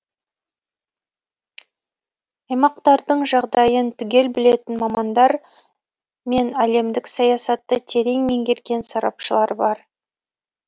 аймақтардың жағдайын түгел білетін мамандар мен әлемдік саясатты терең меңгерген сарапшылар бар